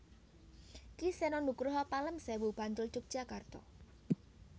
Ki Seno Nugroho Pelemsewu Bantul Yogyakarta